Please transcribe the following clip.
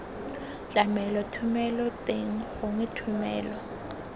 tlamelo thomelo teng gongwe thomelo